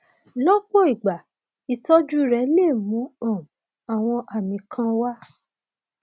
lọpọ ìgbà ìtọjú rẹ lè mú um àwọn àmì kan wá